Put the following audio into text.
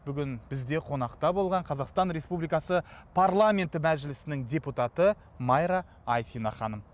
бүгін бізде қонақта болған қазақстан республикасы парламенті мәжілісінің депутаты майра айсина ханым